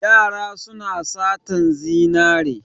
Yara suna satan zinare.